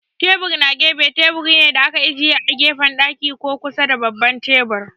Tebur na gefe teburi ne da aka ajiye a gefen daki ko kusa da babban tebur.